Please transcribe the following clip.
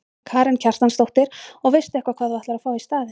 Karen Kjartansdóttir: Og veistu eitthvað hvað þú ætlar að fá í staðinn?